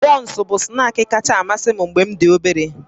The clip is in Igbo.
Bọnsụ bụ snaakị kacha amasị m mgbe m dị obere